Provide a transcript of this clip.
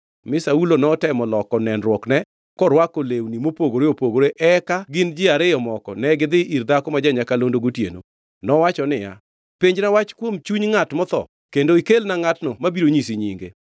Mi Saulo notemo loko nenruokne korwako lewni mopogore opogore, eka en gi ji ariyo moko negidhi ir dhako ma ja-nyakalondo gotieno. Nowacho niya, “Penjna wach kuom chuny ngʼat motho kendo ikelna ngʼatno mabiro nyisi nyinge.”